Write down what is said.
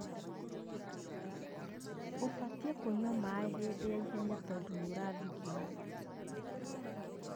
Ũbatiĩ kũnyua maaĩ hĩndĩ ya ihenya tondũ nĩũrathigina